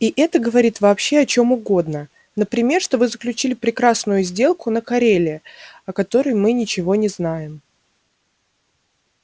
и это говорит вообще о чём угодно например что вы заключили прекрасную сделку на кореле о которой мы ничего не знаем